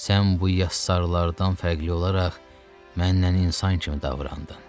Sən bu yassarlardan fərqli olaraq mənlə insan kimi davran.